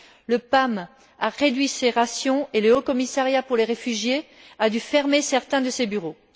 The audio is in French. Le PAM a réduit ses rations et le Haut Commissariat pour les réfugiés a dû fermer certains de ses bureaux.